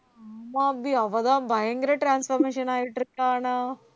ஆமா அபி அவதான் பயங்கர transformation ஆயிட்டு இருக்கா ஆனா